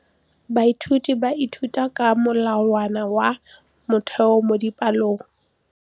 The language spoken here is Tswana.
Baithuti ba ithuta ka molawana wa motheo mo dipalong.